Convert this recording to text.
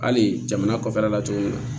Hali jamana kɔfɛ la cogo min na